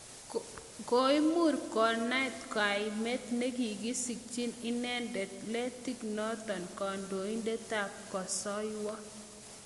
Koimur konaat koemet nekikisikchin inendet Letting notok kandoindet ap Kosoiywo.